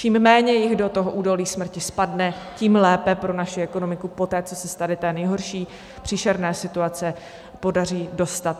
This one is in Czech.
Čím méně jich do toho údolí smrti spadne, tím lépe pro naši ekonomiku poté, co se z tady té nejhorší, příšerné situace podaří dostat.